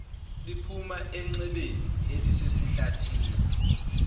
liphuma enxebeni elisesihlathini